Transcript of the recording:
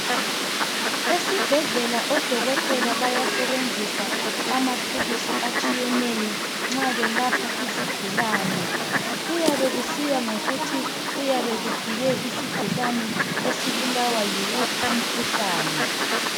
Esibhedlela odokotela bayasebenzisa amathulusi atshiyeneyo nxa belapha izigulane kuyabe kusiya ngokuthi kuyabe kufike isigulane esibulawa yiwuphi umkhuhlane.